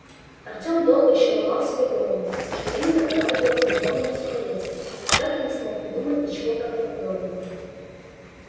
артем долго ещё ломал себе голову что именно понадобилось бурбону на сухаревской но так и не смог придумать ничего правдоподобного